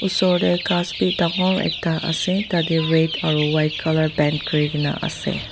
Osor dae ghas bhi dangor ekta ase tatey red aro white colour paint kurikena ase.